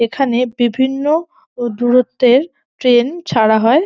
এখানে বিভিন্ন দূরত্বের ট্রেন ছাড়া হয়।